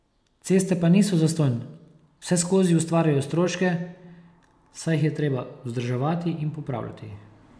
Ceste pa niso zastonj, vseskozi ustvarjajo stroške, saj jih je treba vzdrževati in popravljati.